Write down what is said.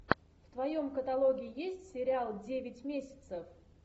в твоем каталоге есть сериал девять месяцев